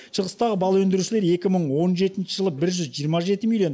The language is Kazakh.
шығыстағы бал өндірушілер екі мың он жетінші жылы бір жүз жиырма жеті миллион